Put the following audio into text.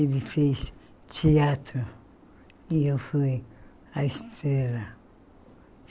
Ele fez teatro e eu fui a estrela.